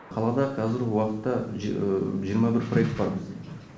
қалада қазіргі уақытта жиырма бір проект бар бізде